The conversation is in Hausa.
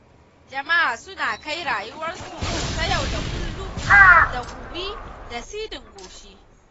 Jama'a suna kai rayuwarsu ta yau-da-kullum da gumi da siɗin goshi.